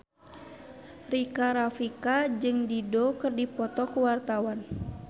Rika Rafika jeung Dido keur dipoto ku wartawan